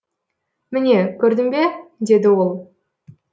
міне көрдің бе деді ол